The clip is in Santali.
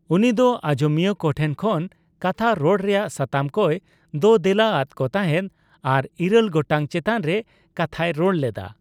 ᱩᱱᱤ ᱫᱚ ᱟᱡᱚᱢᱤᱭᱟᱹ ᱠᱚᱴᱷᱮᱱ ᱠᱷᱚᱱ ᱠᱟᱛᱷᱟ ᱨᱚᱲ ᱨᱮᱭᱟᱜ ᱥᱟᱛᱟᱢ ᱠᱚᱭ ᱫᱳᱼᱫᱮᱞᱟ ᱟᱫᱠᱚ ᱛᱟᱦᱮᱸᱫ ᱟᱨ ᱤᱨᱟᱹᱞ ᱜᱚᱴᱟᱝ ᱪᱮᱛᱟᱱ ᱨᱮ ᱠᱟᱛᱷᱟᱭ ᱨᱚᱲ ᱞᱮᱫᱟ ᱾